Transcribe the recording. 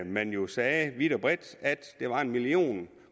man jo sagde vidt og bredt at der var en million